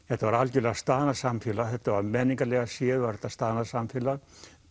þetta var algjörlega staðnað samfélag menningarlega séð var þetta staðnað samfélag